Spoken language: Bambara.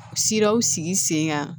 Siraw sigi sen kan